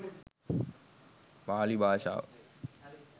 පාලි භාෂාව